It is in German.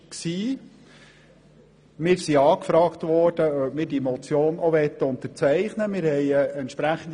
Wir wurden angefragt, ob wir sie auch unterzeichnen möchten.